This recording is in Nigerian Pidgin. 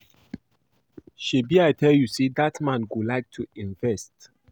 Shebi I tell you say dat man go like to invest